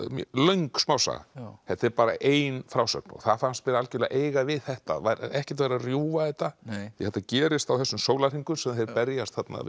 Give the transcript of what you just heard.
löng smásaga þetta er bara ein frásögn það fannst mér algjörlega eiga við þetta ekkert vera að rjúfa þetta þetta gerist á þessum sólarhringum þar sem þeir berjast þarna við